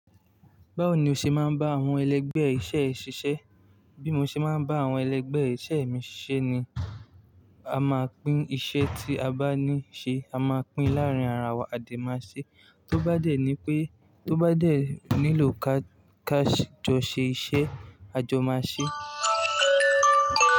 Báwo ni o ṣe máa ń bá àwọn ẹlẹgbẹ́ iṣẹ́ ẹ ṣiṣẹ́? Bí mo ṣe máa ń bá àwọn ẹlẹgbẹ́ iṣẹ́ mi ṣiṣẹ́ ni a máa pín iṣẹ́ tí a bá ní ṣe, a máa pín láàrín ara wa, a dẹ̀ máa ṣe. Tó bá dẹ̀ ni pé tó bá dẹ̀ nílò ká-káṣí jọ ṣe iṣẹ́, a jọ máa ṣe.